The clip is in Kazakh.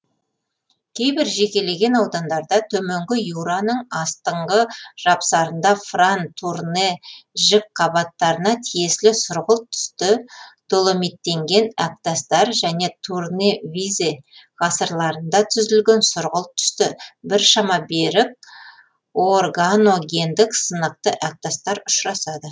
кейбір жекелеген аудандарда төменгі юраның астыңғы жапсарында фран турне жікқабаттарына тиесілі сұрғылт түсті доломиттенген әктастар және турне визе ғасырларында түзілген сұрғылт түсті біршама берік органогендік сынықты әктастар ұшырасады